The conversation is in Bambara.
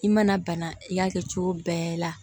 I mana bana i y'a kɛ cogo bɛɛ la